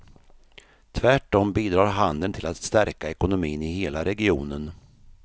Tvärtom bidrar handeln till att stärka ekonomin i hela regionen.